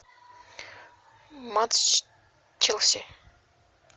матч челси